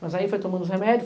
Mas aí foi tomando os remédios.